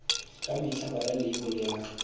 ka mehla bala leibole ya